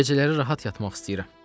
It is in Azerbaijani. Gecələri rahat yatmaq istəyirəm.